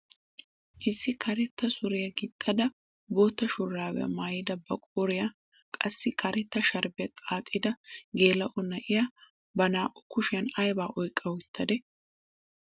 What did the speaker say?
Issi karetta suriyaa gixxada bootta shuraabiyaa maayada ba qooriyaa qassi karetta sharbbiyaa xaaxida geela'o na'iyaa ba naa"u kushiyaa aybaa oyqqa uttadee?